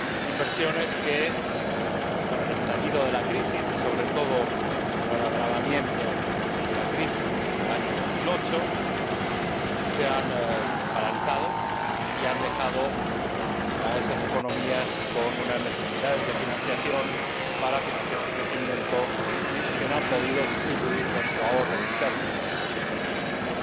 Inversiones que, con el estallido de la crisis y, sobre todo con el agravamiento de la crisis en el año 2008, se han paralizado y han dejado a esas economías con unas necesidades de financiación para financiar su crecimiento que no han podido sustituir con sus ahorros y recursos internos.